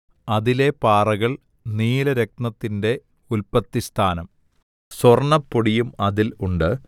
അതിലെ പാറകൾ നീലരത്നത്തിന്റെ ഉല്പത്തിസ്ഥാനം സ്വർണ്ണപ്പൊടിയും അതിൽ ഉണ്ട്